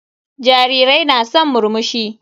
Jarirai na san murmushi.